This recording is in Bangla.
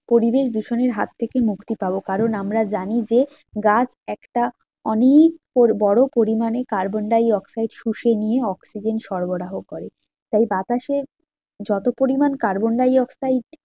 পরিবেশ দূষণের হাত থেকে মুক্তি পাবো কারণ আমরা জানি যে গাছ একটা অনেক তোর বড়ো পরিমানে কার্বন ডাই অক্সাইড শুষে নিয়ে অক্সিজেন সরবরাহ করে। তাই বাতাসে যত পরিমান কার্বন ডাই অক্সাইড